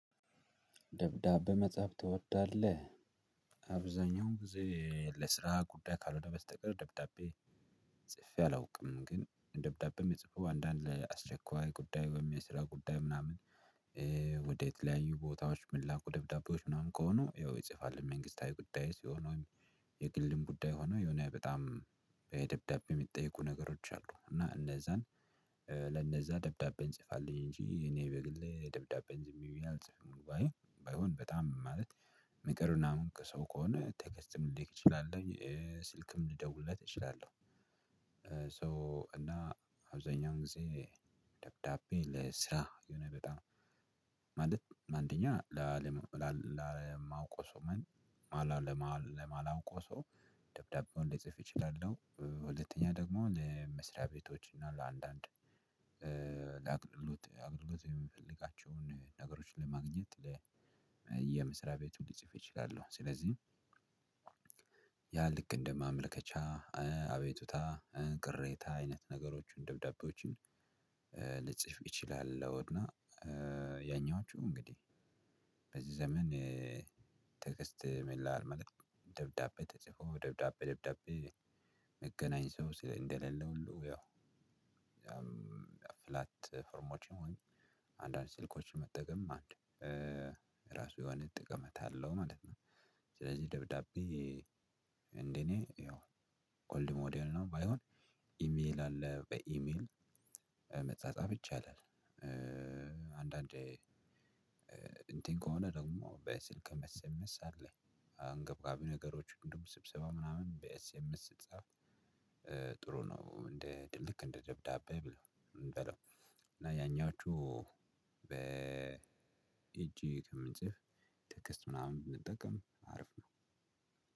ደብዳቤ መጻፍ ትወዳለህ? አብዛኛውን ጊዜ ለስራ ጉዳይ ካልሆነ በስተቀር ደብዳቤ ጽፌ አላውቅም። ግን ደብዳቤም የምጽፈው አንዳንድ ላይ አስቸኳይ ጉዳይ ወይም የስራ ጉዳይ ምናምን ወደ የተለያዩ ቦታዎች ምላኩ ደብዳቤዎች ምናምን ከሆኑ ይጽፋል። መንግስታዊ ጉዳይ ሲሆን ወይም የግልም ጉዳይ ሆኖ የሆነ በጣም የደብዳቤ የሚጠይቁ ነገሮች አሉ እና እነዛን ለነዛ ደብዳቤን ጽፋልኝ እንጂ እኔ በግሌ ደብዳቤን ዝም ብዬ አልጽፍም። ወይም ባይሆን በጣም ማለት ምክር ምናምን ከሰው ከሆነ ቴክስትም ልልክ እችላለሁ። ስልክም ልደውልለት እችላለሁ። ሶ እና አብዛኛው ጊዜ ደብዳቤ ለስራ የሆነ በጣም ማለት አንደኛ ለማውቀው ሰው ወይም ለማላውቀው ሰው ደብዳቤውን ልጽፍ እችላለሁ። ሁለተኛ ደግሞ ለመስሪያ ቤቶች እና ለአንዳንድ ለአገልግሎት የምንፈልጋቸውን ነገሮችን ለማግኘት የመስሪያ ቤቱን ልጽፍ እችላለሁ። ስለዚህ ያ ልክ እንደማመልከቻ አቤቱታ ቅሬታ አይነት ነገሮችን ደብዳቤዎችን ልጽፍ እችላለሁ። እና ያኛዎቹ እንግዲህ በዚህ ዘመን ቴክስት መላላክ ማለት ነው ደብዳቤ ተጽፎ ደብዳቤ ደብዳቤ መገናኘት ሰው ስለሌለ ሁሉ ያው ፍላት ፎርሞች ይሁን አንዳንድ ስልኮችን መጠቀም አንድ ራሱ የሆነ ጠቀሜታ አለው ማለት ነው። ስለዚህ ደብዳቤ እንደኔ ያው ኮልድ ሞዴል ነው ባይሆን ኢሜል አለ በኢሜል መጻጻፍ ይቻላል። አንዳንዴ እንትን ከሆነ ደግሞ በስልክ ኤስኤምኤስ አለኝ አንገብጋቢ ነገሮች እንደውም ስብሰባ ምናምን በኤስኤምስ ስትጻጻፍ ጥሩ ነው። እንደ ልክ እንደ ደብዳቤ በለው እና ያኛዎቹ በእጅ ከምንጽፍ ቴክስት ምናምን ብንጠቀም አሪፍ ነው።